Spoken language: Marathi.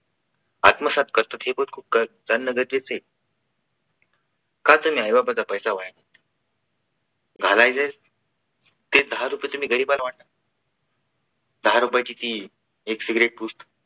आत्मसात करतात हे पण खूप त्यांना गरजेचं आहे. का त्यांनी आई बापाचा पैसा वाया घालायचे ते दहा रुपये तुम्ही गरिबांना वाटा. दहा रुपयाची ती एक सिगरेट